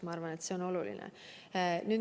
Ma arvan, et see on oluline.